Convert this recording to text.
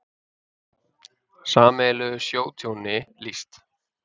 Sameiginlegu sjótjóni lýst